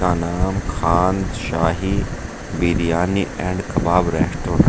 का नाम Khan Shahi biryani and kabab resto है।